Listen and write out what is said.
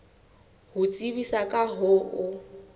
ho tsebisa ka ho o